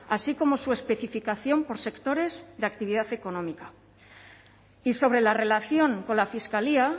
así como su especificación por sectores de actividad económica y sobre la relación con la fiscalía